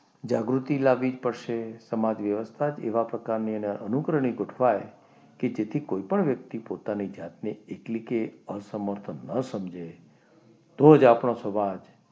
જાગૃતિ લાવવી પડશે. સમાજ વ્યવસ્થા એવા પ્રકારની એને અનુકરણની ગોઠવાઈ કે જેથી કોઈપણ વ્યક્તિ પોતાની જાતને એટલે કે આ સમર્થ ન સમજે તો જ આપણો સમાજ